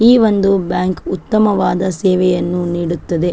ಈ ಒಂದು ಬ್ಯಾಂಕ್ ಉತ್ತಮವಾದ ಸೇವೆಯನ್ನು ನೀಡುತ್ತದೆ .